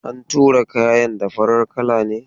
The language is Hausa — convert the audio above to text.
An tura kayan da farar kala ne.